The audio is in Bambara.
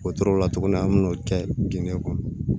O tora tuguni an bɛ n'o kɛ dingɛ kɔnɔ